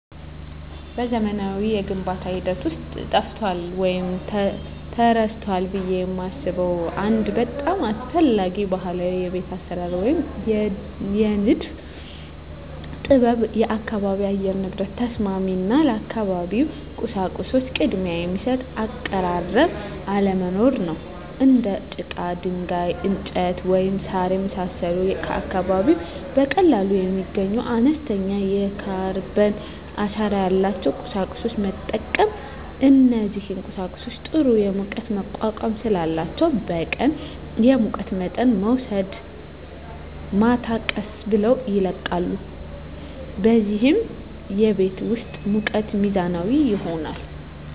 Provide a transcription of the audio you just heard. በዘመናዊው የግንባታ ሂደት ውስጥ ጠፍቷል ወይም ተረስቷል ብዬ የማስበው አንድ በጣም አስፈላጊ ባህላዊ የቤት አሰራር ወይም የንድፍ ጥበብ የአካባቢ የአየር ንብረት ተስማሚ እና ለአካባቢው ቁሳቁሶች ቅድሚያ የሚሰጥ አቀራረብ አለመኖር ነው። እንደ ጭቃ፣ ድንጋይ፣ እንጨት፣ ወይም ሣር የመሳሰሉ ከአካባቢው በቀላሉ የሚገኙና አነስተኛ የካርበን አሻራ ያላቸውን ቁሳቁሶች መጠቀም። እነዚህ ቁሳቁሶች ጥሩ የሙቀት መቋቋም ስላላቸው በቀን የሙቀት መጠንን ወስደው ማታ ቀስ ብለው ይለቃሉ፣ በዚህም የቤት ውስጥ ሙቀት ሚዛናዊ ይሆናል።